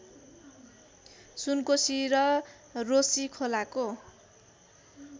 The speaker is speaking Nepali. सुनकोसी र रोशीखोलाको